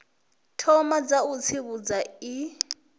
thoma dza u tsivhudza i